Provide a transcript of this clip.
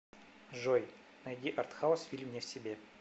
джой найди артхаус фильм не в себе